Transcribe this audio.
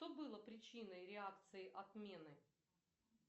что было причиной реакции отмены